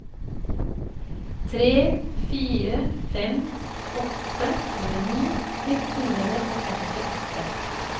tre fire fem åtte tjueni ett hundre og femtiåtte